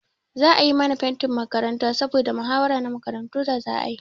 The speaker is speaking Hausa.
Za a yi mana fentin makaranta saboda mahawara na makarantu da za a yi.